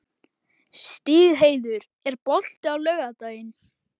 Stígheiður, er bolti á laugardaginn?